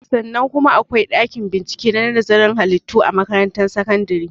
Sannan kuma akwai ɗakin bincike na nazarin halittu a makaratun sakandare